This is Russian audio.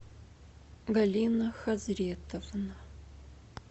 галина хазретовна